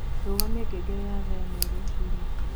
Rũgamĩa ngengere ya thaaĩmwe rũcĩĩnĩ